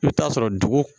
I bɛ t'a sɔrɔ dugu